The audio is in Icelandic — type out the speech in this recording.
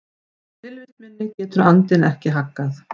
Tilvist minni getur andinn ekki haggað.